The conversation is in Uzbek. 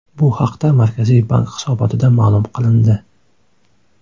Bu haqda Markaziy bank hisobotida ma’lum qilindi .